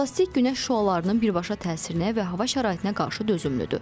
Plastik günəş şüalarının birbaşa təsirinə və hava şəraitinə qarşı dözümlüdür.